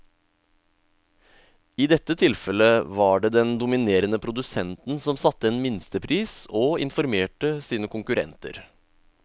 I dette tilfellet var det den dominerende produsenten som satte en minstepris og informerte sine konkurrenter.